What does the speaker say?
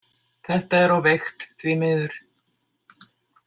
Þetta er of veikt, því miður.